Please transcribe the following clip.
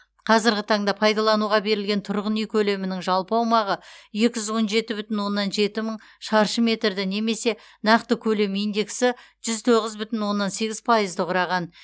қазіргі таңда пайдалануға берілген тұрғын үй көлемінің жалпы аумағы екі жүз он жеті бүтін оннан жеті мың шаршы метрді немесе нақты көлем индексі жүз тоғыз бүтін оннан сегіз пайызды құраған